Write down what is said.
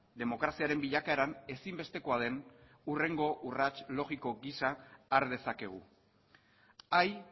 demokraziaren bilakaeran ezinbestekoa den hurrengo urrats logiko gisa har dezakegu hay